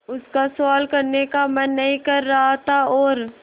उसका सवाल करने का मन नहीं कर रहा था और